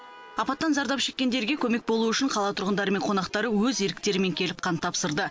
апаттан зардап шеккендерге көмек болу үшін қала тұрғындары мен қонақтары өз еріктерімен келіп қан тапсырды